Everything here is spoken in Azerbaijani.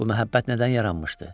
Bu məhəbbət nədən yaranmışdı?